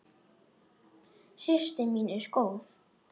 Systir mín góð.